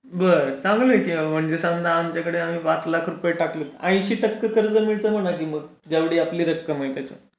बरं चांगला आहे कि मग आमच्याकडे आम्ही पाच लाख रुपये टाकले तर अंशी टक्के कर्ज मिळती म्हणते जर आपण पाच लाख टाकले तर.